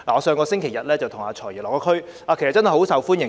上星期日，我與"財爺"落區，"財爺"甚受歡迎。